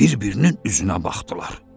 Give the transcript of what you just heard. Bir-birinin üzünə baxdılar.